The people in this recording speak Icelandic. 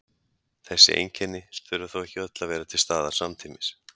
Þessi einkenni þurfa þó ekki öll að vera til staðar samtímis.